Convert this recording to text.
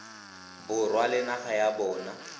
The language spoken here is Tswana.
borwa le naga ya bona